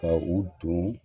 Ka u don